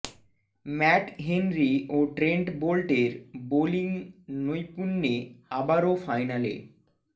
mat Henry ও Trent বোল্টের bowling নৈপুণ্যে আবারও ফাইনালে